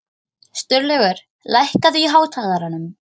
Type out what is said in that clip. Sturlaugur, lækkaðu í hátalaranum.